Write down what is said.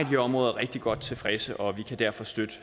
her områder rigtig godt tilfredse og vi kan derfor støtte